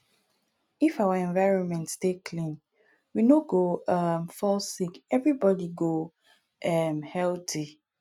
if our environment dey clean we no go um fall sick everybody go um healthy